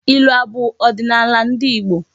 Ilu abụ ọdịnala ndị Igbo?